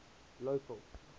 local